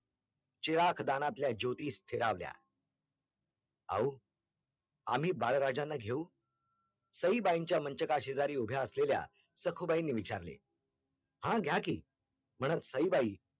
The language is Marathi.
चिरागदानातल्या ज्योतीस फिरावल्या औ आम्ही बाळराजांना घेऊ? सईबाईंच्या मंचका शेजारी उभ्या असलेल्या सखूबाईनीं विचारले हा घ्या की म्हणत सईबाई